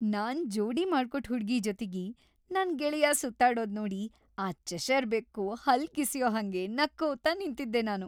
ನಾನ್‌ ಜೋಡಿ ಮಾಡ್ಕೊಟ್ ಹುಡ್ಗಿ ಜೊತಿಗೆ ನನ್‌ ಗೆಳೆಯ ಸುತ್ತಾಡೋದ್ ನೋಡಿ ಆ ಚೆಷರ್ ಬೆಕ್ಕು ಹಲ್ಲ್ ಕಿಸ್ಯೋ ಹಂಗೆ ನಕ್ಕೋತ ನಿಂತಿದ್ದೆ ನಾನು.